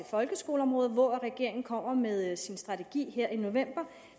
folkeskoleområdet hvor regeringen kommer med sin strategi her i november